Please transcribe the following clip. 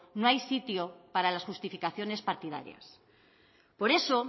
no hay sitio para las justificaciones partidarias por eso